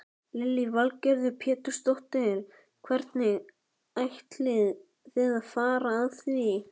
Hann sagði ekkert, kom ekki upp orði, hlustaði bara.